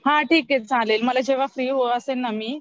हा ठीक आहे चालेल मला जेव्हा फ्री असेल ना मी